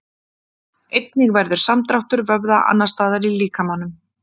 Einnig verður samdráttur vöðva annars staðar í líkamanum.